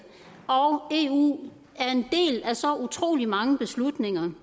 og eu er en del af så utrolig mange beslutninger